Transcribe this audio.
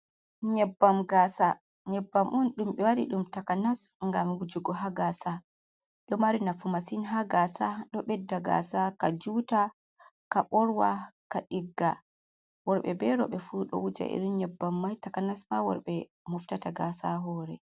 Nyabbam gasa, nyabbam'un dumbe wadi dum takanas gam wujugo ha gasa do mari nafu masin ha gasa dobedda gasa ka juta ka borwa ka digga worbe be robe fu do wuje irin nyabbam mai takanas ma worbe muftata gasa hore.